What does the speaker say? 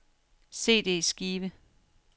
CD-skive